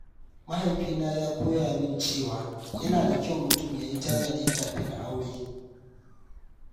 Mahaifina ya koya min cewa yana da kyau mutum ya yi tanadi kafin aure.